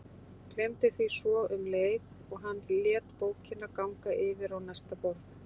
Gleymdi því svo um leið og hann lét bókina ganga yfir á næsta borð.